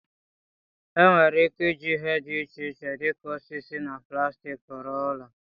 Enwere ike iji ihe dị iche iche dị ka osisi na plastik rụọ ụlọ.